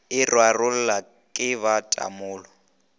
e rarollwa ke ba tamolo